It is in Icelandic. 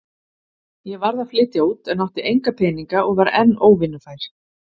Ég varð að flytja út en átti enga peninga og var enn óvinnufær.